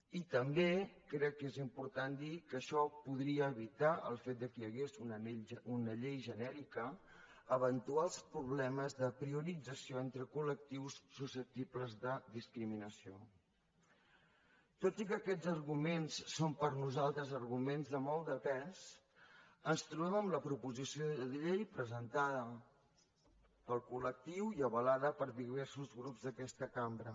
i també crec que és important dir que això podria evitar el fet que hi hagués una llei genèrica eventuals problemes de priorització entre coltot i que aquests arguments són per nosaltres arguments de molt de pes ens trobem amb la proposició de llei presentada pel col·lectiu i avalada per diversos grups d’aquesta cambra